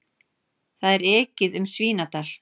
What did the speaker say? Það er ekið um Svínadal.